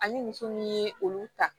Ani muso min ye olu ta